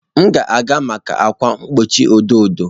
M ga-aga maka ákwà mgbochi edo edo.